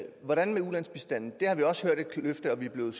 hvordan med ulandsbistanden der har vi også hørt et løfte og vi blev